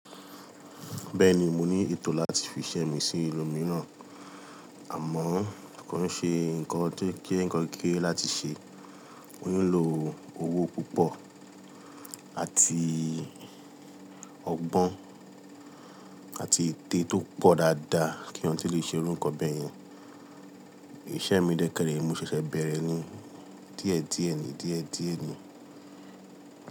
Bẹ́ẹ̀ni mo ní ètò láti fi iṣẹ́ mi sí ìlú mìíràn, àmọ́ kò n ṣe nǹkan to je nnkan kékèkèrè láti ṣe. Mo ni lo owó púpọ̀ àti ọgbọ́n àti ète tó pọ̀ dáadáa kí eeyan to lè ṣe irú nkan bèèyen. Ìṣe mi dẹ́kẹrẹ, mo ṣẹ̀ṣẹ̀ bẹ̀rẹ̀ ni díẹ̀díẹ̀ ni díẹ̀díẹ̀ ni.